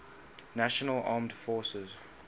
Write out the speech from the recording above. national armed forces